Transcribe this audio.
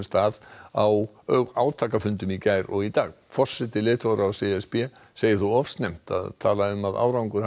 að á átakafundum í gær og í dag forseti leiðtogaráðs e s b segir þó of snemmt að tala um að árangur hafi